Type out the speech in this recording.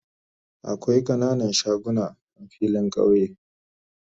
Akwai kananan shagunan a filin kauye